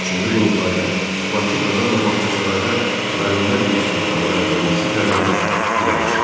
Üçüncü qurultayda Bakı, Kazan və Bağçasarayda müəllimlər institutları yaradılması tələbi də irəli sürüldü.